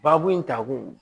Baabu in ta kun